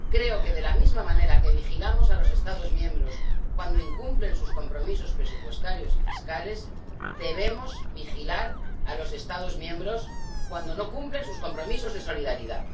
Creo que, de la misma manera que vigilamos a los Estados miembros cuando incumplen sus compromisos presupuestarios y fiscales, debemos vigilar a los Estados miembros cuando no cumplen sus compromisos de solidaridad.